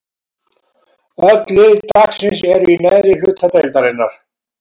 Öll lið dagsins eru í neðri hluta deildarinnar.